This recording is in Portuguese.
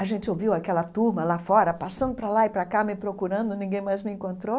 A gente ouviu aquela turma lá fora, passando para lá e para cá, me procurando, ninguém mais me encontrou.